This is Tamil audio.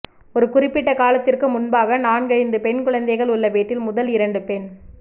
ஒரு குறிப்பிட்ட காலத்திற்கு முன்பாக நான்கைந்து பெண் குழந்தைகள் உள்ள வீட்டில் முதல் இரண்டு பெண்